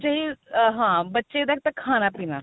ਵਿੱਚ ਇਹੀ ਹਾਂ ਬੱਚੇ ਦਾ ਇੱਕ ਤਾਂ ਖਾਣਾ ਪੀਣਾ